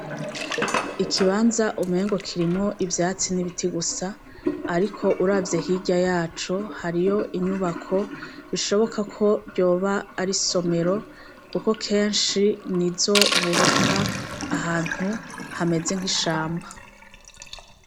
Ikibanza umengo kirimwo ivyatsi n'ibiti gusa ariko uravye hirya yaco hariyo inyubako bishobokako ryoba ar'isomero kuko kenshi nizo bubaka ahantu hameze nk'ishamba.